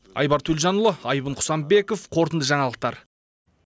айбар төлжанұлы айбын құсанбеков қорытынды жаңалықтар